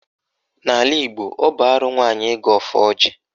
N'ala Igbo, ọ bụ arụ nwaanyị ịgọ ọfọ ọjị